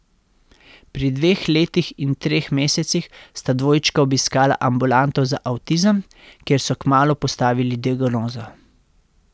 Pri dveh letih in treh mesecih sta dvojčka obiskala ambulanto za avtizem, kjer so kmalu postavili diagnozo.